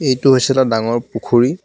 এইটো হৈছে এটা ডাঙৰ পুখুৰী.